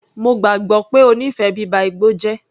Mo gbàgbọ́ pé ó nífẹ̀ẹ́ bíba igbó jẹ́.